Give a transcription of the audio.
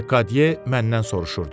Lekadye məndən soruşurdu.